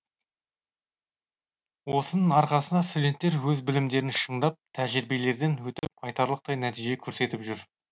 осының арқасында студенттер өз білімдерін шыңдап тәжірибелерден өтіп айтарлықтай нәтиже көрсетіп жүр